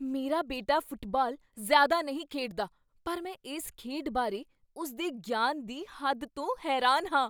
ਮੇਰਾ ਬੇਟਾ ਫੁੱਟਬਾਲ ਜ਼ਿਆਦਾ ਨਹੀਂ ਖੇਡਦਾ ਪਰ ਮੈਂ ਇਸ ਖੇਡ ਬਾਰੇ ਉਸ ਦੇ ਗਿਆਨ ਦੀ ਹੱਦ ਤੋਂ ਹੈਰਾਨ ਹਾਂ।